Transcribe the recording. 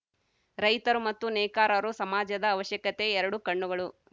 ರೈತರು ಮತ್ತು ನೇಕಾರರು ಸಮಾಜದ ಅವಶ್ಯಕತೆ ಎರಡು ಕಣ್ಣುಗಳು